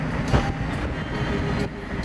пэй пал